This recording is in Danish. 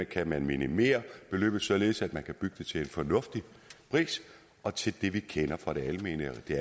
kan man minimere beløbet således at man kan bygge til en fornuftig pris og til det vi kender fra det